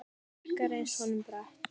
Brekka reynst honum brött.